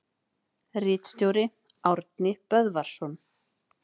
Ritstjóri: Árni Böðvarsson.